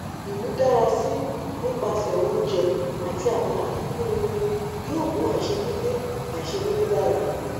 imudarasi nipasẹ ounjẹ ati awọn afikun irin yoo mu aiṣedede aiṣedede dara